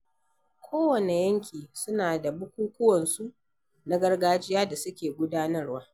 Ko wanne yanki suna da bukukuwan su na gargajiya da suke gudanarwa.